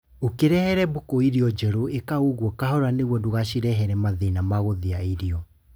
Ũkĩrehera mbũkũ irio njerũ ĩka guo kahora niguo ndũgashirehere mathĩna ma gũthĩa irio